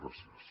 gràcies